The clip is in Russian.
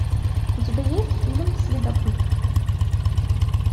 у тебя есть фильм следопыт